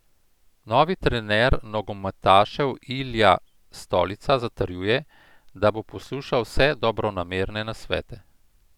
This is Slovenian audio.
Novi trener nogometašev Ilija Stolica zatrjuje, da bo poslušal vse dobronamerne nasvete.